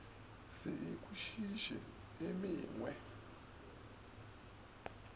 se e kwešiše e mengwe